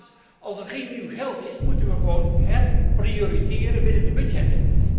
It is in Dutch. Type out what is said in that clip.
In de eerste plaats, als er geen nieuw geld is moeten we gewoon herprioriteren binnen de budgetten.